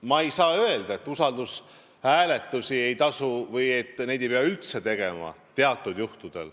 Ma ei saa öelda, et usaldushääletusi ei pea üldse tegema.